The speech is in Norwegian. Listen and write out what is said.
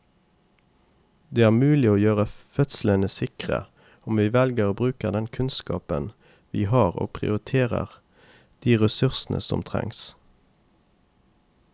Det er mulig å gjøre fødslene sikre om vi velger å bruke den kunnskapen vi har og prioritere de ressursene som trengs.